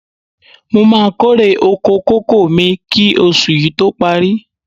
Mo máa kórè oko kókò mi kí oṣù yí tó parí.